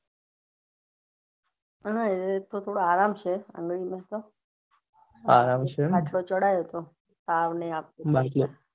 હા એ તો થોડો આરામ છે આગળીયુંને તો આરામ છે એમ ને બાટલો ચડાઇવો તો તાવ ને